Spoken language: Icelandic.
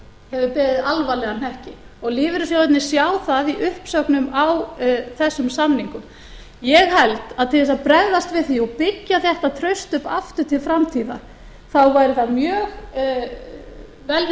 hefur beðið alvarlegan hnekki og lífeyrissjóðirnir sjá það í uppsögnum á þessum samningum ég held að til þess að bregðast við því og byggja upp þetta traust aftur til framtíðar þá væri það mjög vel við